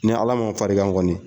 Ni Ala ma farikan kɔni